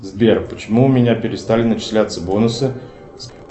сбер почему у меня перестали начисляться бонусы